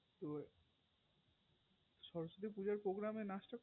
ওই সরস্বতী পূজার programme এ নাচ